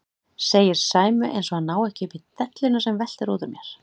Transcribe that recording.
segir Sæmi eins og hann nái ekki upp í delluna sem veltur út úr mér.